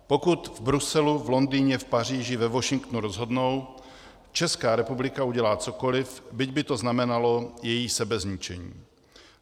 Pokud v Bruselu, v Londýně, v Paříži, ve Washingtonu rozhodnou, Česká republika udělá cokoli, byť by to znamenalo její sebezničení.